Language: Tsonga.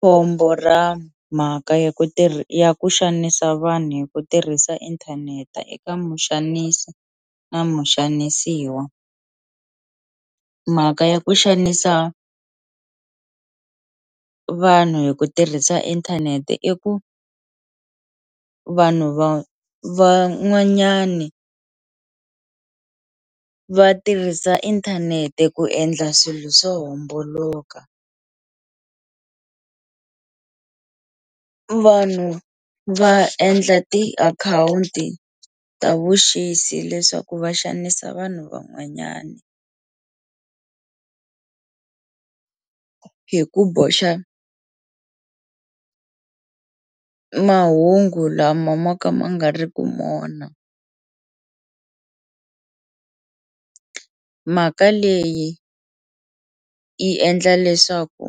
Khombo ra mhaka ya ku ya ku xanisa vanhu hi ku tirhisa inthanete eka muxanisi na muxanisiwa mhaka ya ku xanisa vanhu hi ku tirhisa inthanete i ku vanhu va van'wanyani va tirhisa inthanete ku endla swilo swo homboloka vanhu va endla tiakhawunti ta vuxisi leswaku va xanisa vanhu van'wanyani hi ku boxa mahungu lama ma ka ma nga ri ku mona mhaka leyi yi endla leswaku